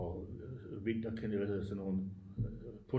Vinter hvad hedder sådan nogle